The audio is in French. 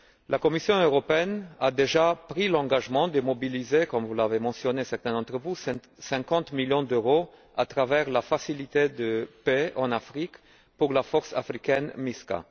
La Commission européenne a déjà pris l'engagement de mobiliser, comme certains d'entre vous l'ont mentionné, 50 millions d'euros à travers la facilité de paix en Afrique pour la force africaine MISCA.